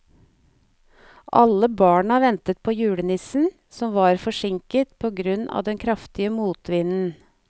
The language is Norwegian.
Alle barna ventet på julenissen, som var forsinket på grunn av den kraftige motvinden.